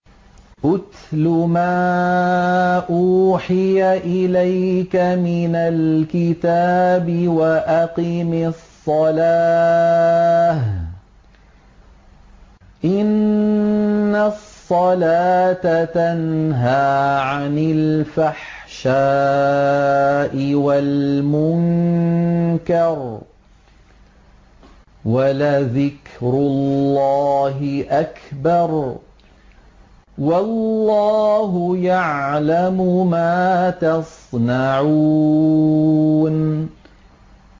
اتْلُ مَا أُوحِيَ إِلَيْكَ مِنَ الْكِتَابِ وَأَقِمِ الصَّلَاةَ ۖ إِنَّ الصَّلَاةَ تَنْهَىٰ عَنِ الْفَحْشَاءِ وَالْمُنكَرِ ۗ وَلَذِكْرُ اللَّهِ أَكْبَرُ ۗ وَاللَّهُ يَعْلَمُ مَا تَصْنَعُونَ